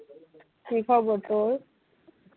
কি খবর তোর?